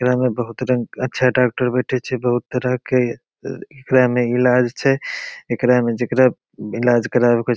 एकरा में बहुत रंग अच्छा डाक्टर बैठे छे बहुत तरह के एकरा में इलाज छे एकरा में जेकरा इलाज करावे के --